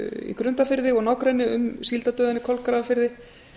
í grundarfirði og nágrenni um síldardauðann í kolgrafafirði